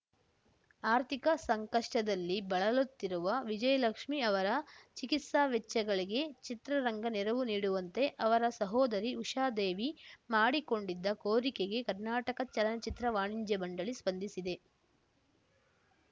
ಆರ್ಥಿಕ ಸಂಕಷ್ಟದಲ್ಲಿ ಬಳಲುತ್ತಿರುವ ವಿಜಯಲಕ್ಷ್ಮಿ ಅವರ ಚಿಕಿತ್ಸಾ ವೆಚ್ಚಗಳಿಗೆ ಚಿತ್ರರಂಗ ನೆರವು ನೀಡುವಂತೆ ಅವರ ಸಹೋದರಿ ಉಷಾದೇವಿ ಮಾಡಿಕೊಂಡಿದ್ದ ಕೋರಿಕೆಗೆ ಕರ್ನಾಟಕ ಚಲನಚಿತ್ರ ವಾಣಿಜ್ಯ ಮಂಡಳಿ ಸ್ಪಂದಿಸಿದೆ